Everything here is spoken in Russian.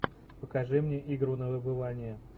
покажи мне игру на выбывание